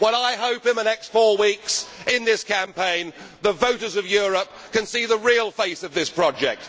I hope in the next four weeks, in this campaign, that the voters of Europe can see the real face of this project.